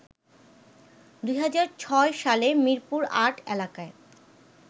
২০০৬ সালে মিরপুর-৮ এলাকায়